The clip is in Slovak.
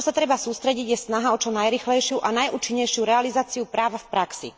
Na čo sa treba sústrediť, je snaha o čo najrýchlejšiu a najúčinnejšiu realizáciu práva v praxi.